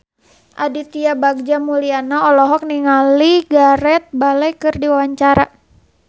Aditya Bagja Mulyana olohok ningali Gareth Bale keur diwawancara